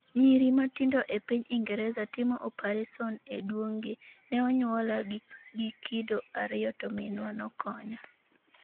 Nyiri matindo e piny Ingresa timo opareson e duong' gi ‘Ne onyuola gi kido ariyo to minwa nokonya’.